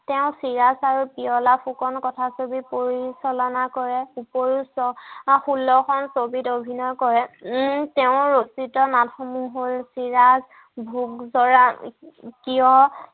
তেওঁ চিৰাজ আৰু পিয়লা ফুকন কথা ছবি পৰিচালনা কৰে ওপৰিও আৰু ষোল্ল খন ছবিত অভিনয় কৰে উম তেওঁৰ ৰচিত নাম সমুহ হ'ল চিৰাজ ভোগজৰা